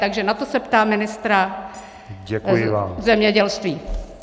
Takže na to se ptám ministra zemědělství.